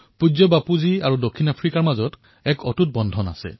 পূজ্য বাপু আৰু দক্ষিণ আফ্ৰিকাৰ মাজত এক অটুট সম্বন্ধ আছে